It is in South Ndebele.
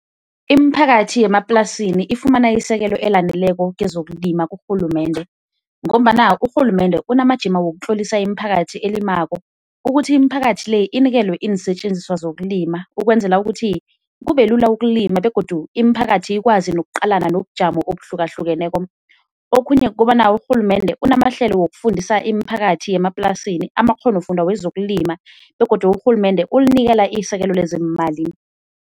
Imiphakathi yemaplasini ifumana isekelo elaneleko kezokulima kurhulumende, ngombana urhulumende unamajima wokutlolisa imiphakathi elimako ukuthi imiphakathi le inikelwe iinsetjenziswa zokulima, ukwenzela ukuthi kubelula ukulima begodu imiphakathi ikwazi nokuqalana nobujamo obuhlukahlukeneko. Okhunye kukobana urhulumende unamahlelo wokufundisa imiphakathi yemaplasini amakghonofundwa wezokulima begodu urhulumende ulinikela isekelo lezeemali.